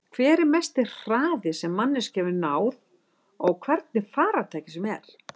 Hver er mesti hraði sem manneskja hefur náð á hvernig farartæki sem er?